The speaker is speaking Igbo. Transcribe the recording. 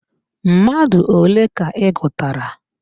Mmadụ ole ka ị gụtara?